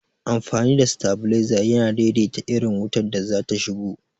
Amfani da stabilizer yana daidaita irin wutar da zata shigo